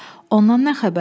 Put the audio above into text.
Ondan nə xəbər?